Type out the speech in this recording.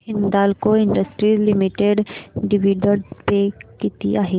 Hindalco industries limited dividend pay किती आहे